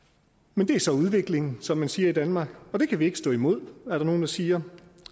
men det er så udviklingen som man siger i danmark det kan vi ikke stå imod er der nogle der siger